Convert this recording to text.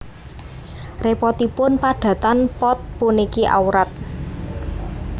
Repotipun padatan pot puniki awrat